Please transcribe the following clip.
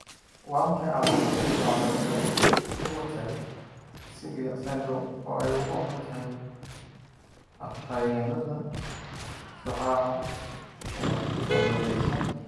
Waa maxay calaamadaha iyo calaamadaha Immotile cilia syndrome, oo ay ugu wacan tahay afhayeennada shucaaca ee cilladaysan?